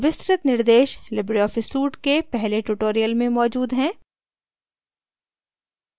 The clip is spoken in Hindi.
विस्तृत निर्देश लिबरे ऑफिस suite के पहले tutorial में मौजूद हैं